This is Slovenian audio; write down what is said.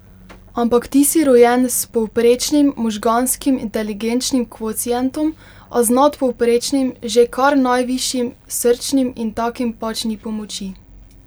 Ampak ti si rojen s povprečnim možganskim inteligenčnim kvocientom, a z nadpovprečnim, že kar najvišjim srčnim, in takim pač ni pomoči.